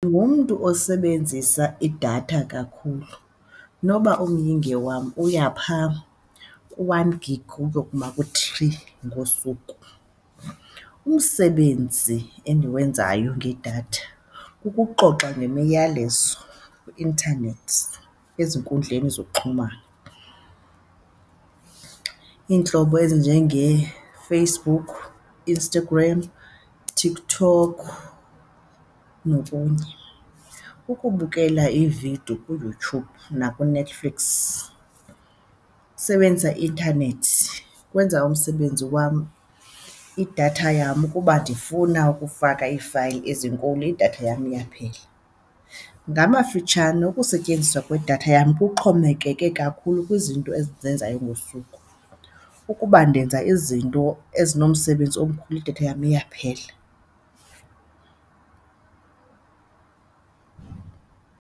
Ndigumntu osebenzisa idatha kakhulu. Inoba umyinge wam uya phaa ku-one gig uyokuma ku-three ngosuku. Umsebenzi endiwenzayo ngedatha kukuxoxa nemiyalezo kwi-internet ezinkundleni zokuxhumana, iintlobo ezinjengeeFacebook, Instagram, TikTok nokunye. Ukubukela iividiyo kuYouTube nakuNetflix kusebenzisa i-intanethi, ukwenza umsebenzi wam, idatha yam ukuba ndifuna ukufaka iifayili ezinkulu idatha yam iyaphela. Ngamafutshane, ukusetyenziswa kwedatha yam kuxhomekeke kakhulu kwizinto endizenzayo ngosuku, ukuba ndenza izinto ezinomsebenzi omkhulu idatha yam iyaphela.